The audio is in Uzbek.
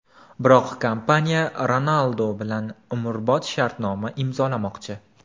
Biroq kompaniya Ronaldu bilan umrbod shartnoma imzolamoqchi.